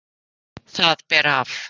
Það ber af.